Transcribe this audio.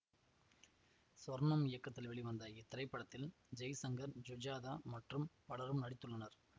சொர்ணம் இயக்கத்தில் வெளிவந்த இத்திரைப்படத்தில் ஜெய்சங்கர் ஜுஜாதா மற்றும் பலரும் நடித்துள்ளனர்